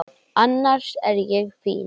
Annars er ég fín.